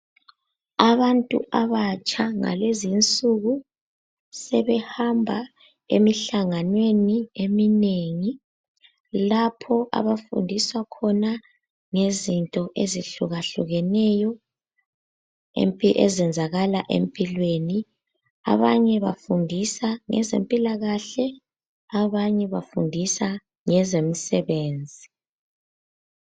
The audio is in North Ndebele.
Abantu abatsha ngalezinsuku sebehamba emihlanganweni eminengi lapho abafundiswa khona ngezinto ezihlukahlukeneyo ezenzakala empilweni. Abanye bafundisa ngezempilakahle abanye bafundisa ngezemisebenzi.